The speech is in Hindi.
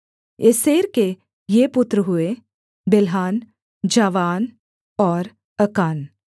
एसेर के ये पुत्र हुए बिल्हान जावान और अकान